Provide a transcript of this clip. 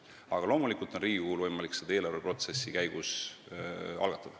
Riigikogul on aga muidugi võimalik seda teemat eelarveprotsessi käigus algatada.